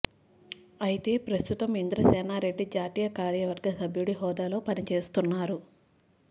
అయితే ప్రస్తుతం ఇంద్రసేనా రెడ్డి జాతీయ కార్యవర్గ సభ్యుడి హోదాలో పని చేస్తున్నారు